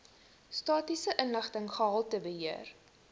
statistiese inligting gehaltebeheer